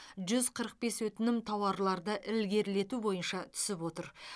жүз қырық бес өтінім тауарларды ілгерілету бойынша түсіп отыр